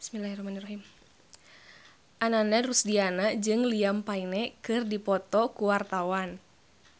Ananda Rusdiana jeung Liam Payne keur dipoto ku wartawan